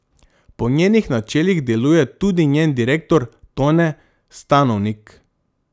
Po njenih načelih deluje tudi njen direktor Tone Stanovnik.